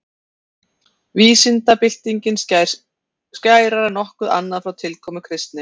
Vísindabyltingin skín skærar en nokkuð annað frá tilkomu kristni.